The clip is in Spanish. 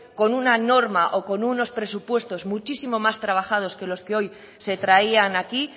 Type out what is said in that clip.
con una norma o con unos presupuestos muchísimo más trabajados que los que hoy se traían aquí